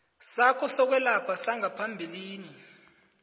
sakho sokwelapha sangaphambilini